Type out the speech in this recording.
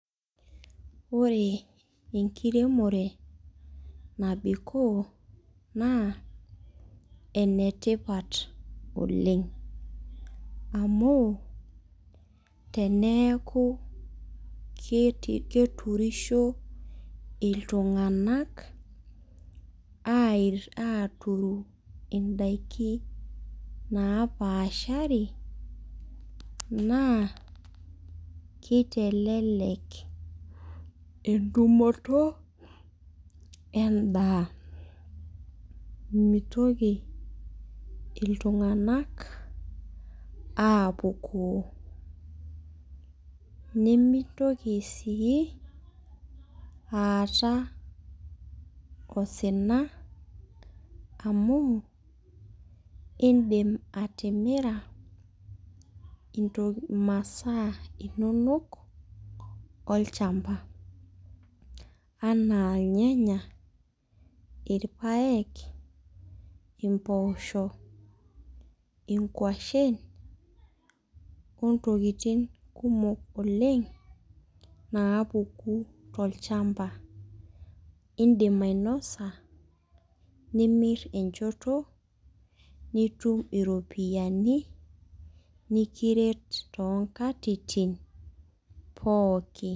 Ore enkiremore nabikoo na enetipat oleng amu teneaku keturisho ltunganak aituru indakin napaasha na kitelelek entumoto endaa mitoki iltunganak apukoo nimitoki si aata osina amu indim atimira intoki imasaa inono olchamba anaa irnyanya ,irpaek impoosho, ingwashen ontokitin kumok napuku tolchamba indim ainosa nimir enchoto nitim iropiyiani nikiret tonkatitin pooki